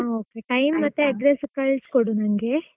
ಹಾ okay time ಮತ್ತೆ address ಕಳಿಸಿಕೊಡು ನಂಗೆ.